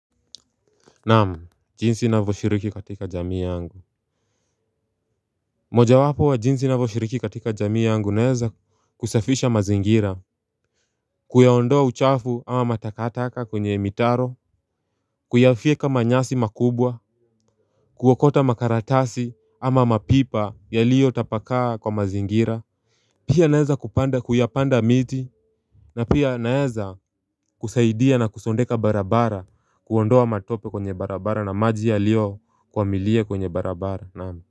Namu, jinsi navoshiriki katika jamii yangu. Moja wapo wa jinsi na voshiriki katika jamii yangu naeza kusafisha mazingira. Kuyaondoa uchafu ama matakataka kwenye mitaro. Kuyafieka manyasi makubwa. Kuwokota makaratasi ama mapipa yaliyo tapakaa kwa mazingira. Pia naeza kupanda kuyapanda miti. Na pia naeza kusaidia na kusondeka barabara. Kuondoa matope kwenye barabara na maji yaliyokwamilia kwenye barabara Namu.